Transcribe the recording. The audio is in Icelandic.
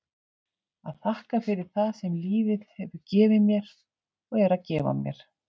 að þakka fyrir það sem lífið hefur gefið mér og er að gefa mér.